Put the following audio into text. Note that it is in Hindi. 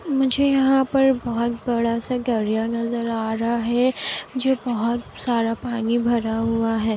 मुझे यहाँ पर बहुत बड़ा-सा दरिया नजर आ रहा है जो बहुत सारा पानी भरा हुआ है।